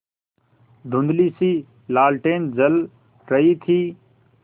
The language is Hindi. धुँधलीसी लालटेन जल रही थी